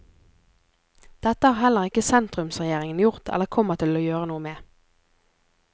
Dette har heller ikke sentrumsregjeringen gjort eller kommer til å gjøre noe med.